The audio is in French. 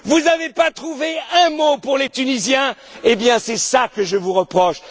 Vous n'avez pas trouvé un mot pour les Tunisiens, eh bien c'est cela que je vous reproche.